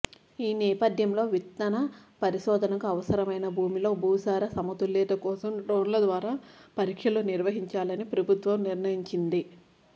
ఈ నేపధ్యంలో విత్తన పరిశోధనకు అవసరమైన భూమిలో భూసార సమతుల్యత కోసం డ్రోన్ల ద్వారా పరీక్షలు నిర్వహించాలని ప్రభుత్వం నిర్ణయించింది